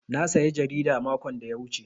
Na saya jarida makon da ya wuce.